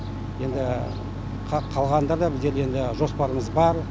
енді қалғанда да бізде енді жоспарымыз бар